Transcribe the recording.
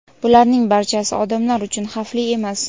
Bularning barchasi odamlar uchun xavfli emas.